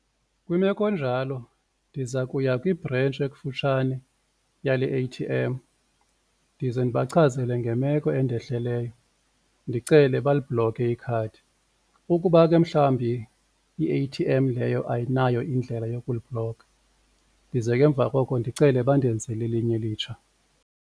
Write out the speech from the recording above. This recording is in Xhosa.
Kwimeko enjalo ndiza kuya kwibhrentshi ekufutshane yale A_T_M ndize ndibachazele ngemeko endehleleyo ndicele balibhlokhe ikhadi. Ukuba ke mhlawumbi i-A_T_M leyo ayinayo indlela yokuliblokha ndize ke emva koko ndicele bandenzele elinye elitsha.